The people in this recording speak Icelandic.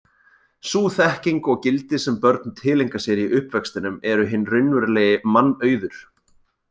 Sú þekking og gildi sem börn tileinka sér í uppvextinum eru hinn raunverulegi mannauður.